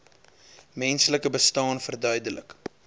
menslike bestaan verduidelik